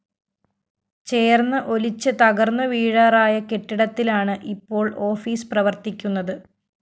ചേര്‍ന്ന് ഒലിച്ച് തകര്‍ന്നു വീഴാറായ കെട്ടിടത്തിലാണ് ഇപ്പോള്‍ ഓഫീസ്‌ പ്രവര്‍ത്തിക്കുന്നത്